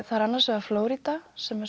það er annars vegar Flórída sem er